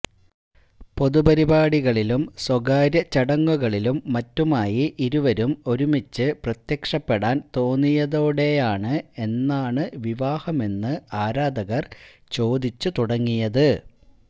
പൊതുപരിപാടികളിലും സ്വകാര്യ ചടങ്ങുകളിലും മറ്റുമായി ഇരുവരും ഒരുമിച്ച് പ്രത്യക്ഷപ്പെടാന് തോന്നിയതോടെയാണ് എന്നാണ് വിവാഹമെന്ന് ആരാധകര് ചോദിച്ചുതുടങ്ങിയത്